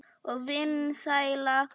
Og vinsæl.